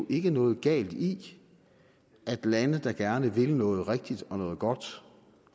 ikke noget galt i at lande der gerne vil noget rigtigt og noget godt